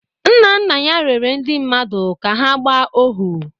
Nna nna ya rere ndị mmadụ ka ha gbaa ohu